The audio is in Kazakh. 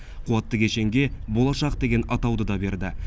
қуатты кешенге болашақ деген атауды да берді